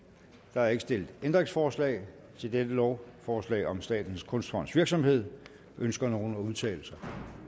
der er ikke stillet ændringsforslag til dette lovforslag om statens kunstfonds virksomhed ønsker nogen at udtale sig